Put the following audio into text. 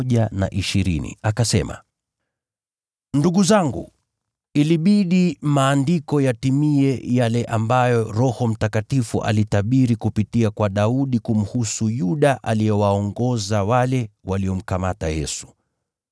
“Ndugu zangu, ilibidi Andiko litimie ambalo Roho Mtakatifu alitabiri kupitia kwa Daudi kumhusu Yuda aliyewaongoza wale waliomkamata Yesu.